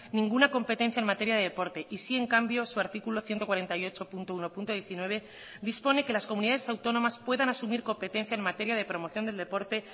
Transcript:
ninguna competencia en materia de deporte y sí en cambio su artículo ciento cuarenta y ocho punto uno punto diecinueve dispone que las comunidades autónomas puedan asumir competencia en materia de promoción del deporte